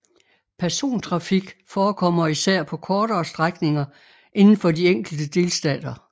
Persontrafik forekommer især på kortere strækninger inden for de enkelte delstater